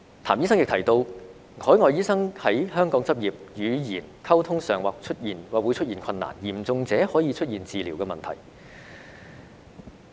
譚醫生亦提到，海外醫生在香港執業，語言溝通上或會出現困難，嚴重者可導致治療問題。